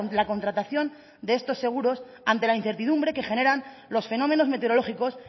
la contratación de estos seguros ante la incertidumbre que generan los fenómenos meteorológicos